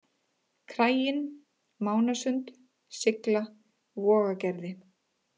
Kraginn, Mánasund, Sigla, Vogagerði